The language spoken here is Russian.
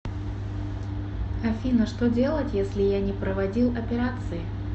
афина что делать если я не проводил операции